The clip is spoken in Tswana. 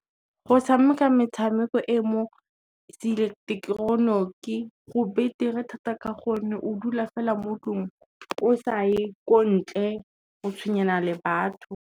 Go tshameka metshameko e mo seileketoroniki go betere thata ka gonne o dula fela mo tlong, o sa ye ko ntle o tshwenyana le batho.